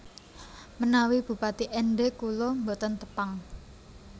Menawi bupati Ende kula mboten Tepang